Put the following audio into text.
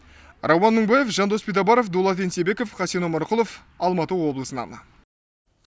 рауан мыңбаев жандос битабаров дулат енсебеков хасен омарқұлыов алматы облысынан